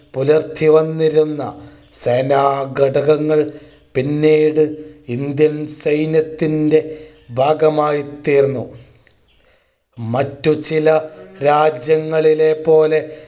പുലർത്തി വന്നിരുന്ന സേനാഘടകങ്ങൾ പിന്നീട് Indian സൈന്യത്തിന്റെ ഭാഗമായിത്തീർന്നു മറ്റു ചില രാജ്യങ്ങളിലെ പോലെ